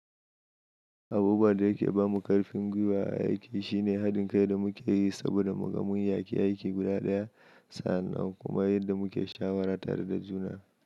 Abubuwan da yake ba mu ƙarfin gwiwa a aiki shine haɗin kai da muke yi saboda mu gamu da aiki guda ɗaya, sa'an nan kuma yadda muke shawara tare da juna.